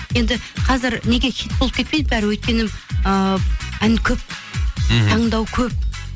енді қазір неге хит болып кетпейді бәрі өйткені ыыы ән көп мхм таңдау көп